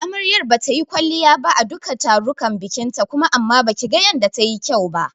Amaryar bata yi kwalliya ba a duka tarukan bikinta kuma amma baki ga yanda ta yi kyau ba.